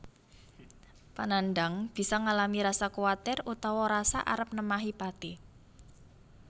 Panandhang bisa ngalami rasa kuwatir utawa rasa arep nemahi pati